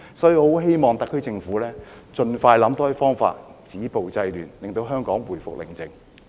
所以，我很希望特區政府盡快想多些方法止暴制亂，令香港回復寧靜。